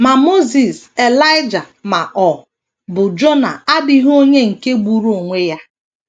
Ma Mosis, Elaịja, ma ọ bụ Jona adịghị onye nke gburu onwe ya.